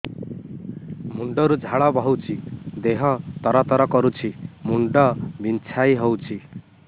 ମୁଣ୍ଡ ରୁ ଝାଳ ବହୁଛି ଦେହ ତର ତର କରୁଛି ମୁଣ୍ଡ ବିଞ୍ଛାଇ ହଉଛି